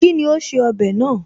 Kíni ó ṣe ọbẹ̀ náà?